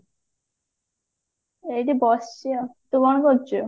ଏଇଠି ବସିଛି ଆଉ ତୁ କଣ କରୁଛୁ